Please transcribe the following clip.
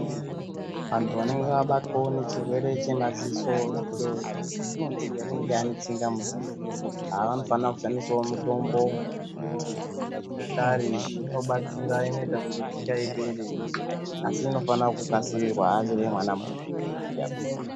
Antu anenge abatwawo nechirwere chemaziso icho chatinoti anenge anetsinga muziso. Ava vanofana kushandisawo mitombo yechinyakare, inobatsira, inoita kuti tsinga ipere, asi inofana kukasirirwa achiri mwana muduku, isati yakura.